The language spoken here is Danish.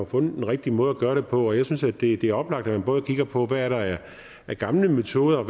fundet den rigtige måde at gøre det på og jeg synes det er oplagt at man både kigger på hvad der er af gamle metoder